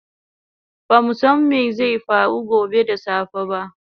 Bamu san mai zai faru gobe da safe ba